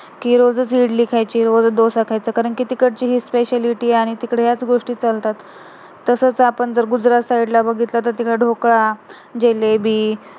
कि रोजचं इडली खायची रोजचं डोसा खायचा कारण कि तिकडची हीच speciality आहे आणि तिकडे याच गोष्टी चालतात, तसंच आपण जर गुजरात side ला बघितला तर तिकडे ढोकळा जलेबी